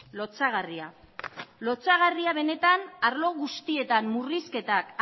lotsagarria lotsagarria benetan arlo guztietan murrizketak